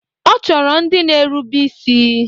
Ọ chọrọ ndị na-erube isi.